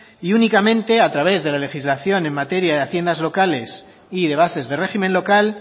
y únicamente a través de la legislación en materia de haciendas locales y de bases de régimen local